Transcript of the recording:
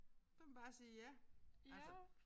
Der kan man bare sige ja altså